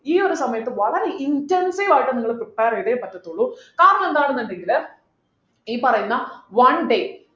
ഈ ഒരു സമയത്ത് വളരെ intensive ആയിട്ട് നിങ്ങള് prepare ചെയ്തേ പറ്റത്തുള്ളൂ കാരണം എന്താണെന്ന് ഉണ്ടെങ്കിൽ ഈ പറയുന്ന one day